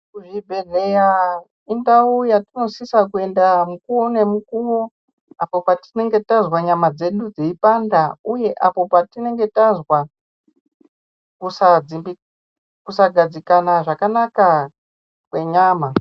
Kuzvibhedhleya indau yatinosisa kuenda mukuvo nemukovo apo patinenge tazwa nyama dzedu dzeipanda, uye apo patinenge tazwa kusagadzikana zvakanaka kwenyama.